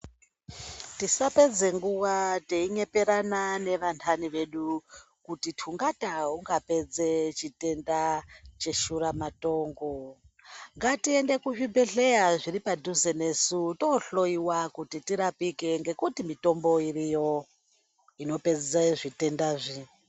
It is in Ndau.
Tisapedze nguwa teinyeperana nevantani vedu kuti tungata ungapedze chitenda cheshura matongo. Ngatiende kuzvibhedhleya zviri padhuze nesu tohloyiwa kuti tirapike ngekuti mitombo iriyo inopedze zvitendazvi.